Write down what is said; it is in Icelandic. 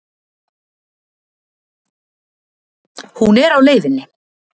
Hún er á leiðinni.